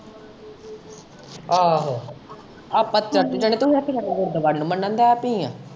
ਆਹੋ, ਆਪਾਂ ਚਰਚ ਜਾਣੇ ਏ ਤੇ ਹੁਣ ਤੂੰ ਗੁਰਦੁਆਰੇ ਨੂੰ ਮੰਨਣ ਲੱਗ ਪਈ ਏ।